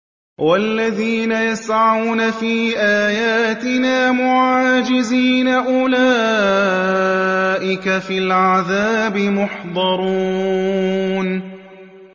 وَالَّذِينَ يَسْعَوْنَ فِي آيَاتِنَا مُعَاجِزِينَ أُولَٰئِكَ فِي الْعَذَابِ مُحْضَرُونَ